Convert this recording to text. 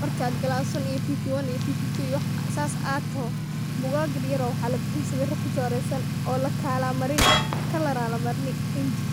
markad glas wan ito pp wan iyo pp took, wax sas ah adtoho bugag yaryr oo mxa labixin sawira kuchoreysan oo laka marin kalar aa lamarin rinju,.